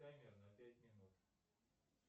таймер на пять минут